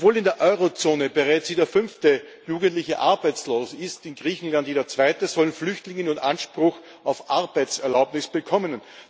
Obwohl in der Eurozone bereits jeder fünfte Jugendliche arbeitslos ist in Griechenland jeder zweite sollen Flüchtlinge nun Anspruch auf Arbeitserlaubnis bekommen.